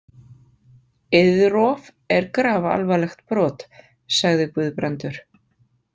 Eiðrof er grafalvarlegt brot, sagði Guðbrandur.